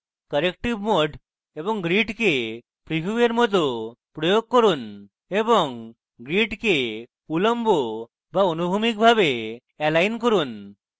corrective mode এবং grid preview এর mode প্রয়োগ করুন এবং grid use বা অনুভূমিক ভাবে এলাইন করুন